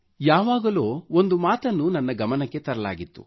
ಯಾವಾಗಲೋ ಒಂದು ಮಾತನ್ನು ನನ್ನ ಗಮನಕ್ಕೆ ತರಲಾಗಿತ್ತು